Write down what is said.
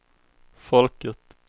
folket